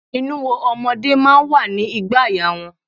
Inuwo ọmọdé máa ń wà ní ìgbàaya wọn.